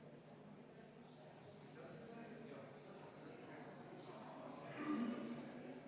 Aitäh, lugupeetud istungi juhataja!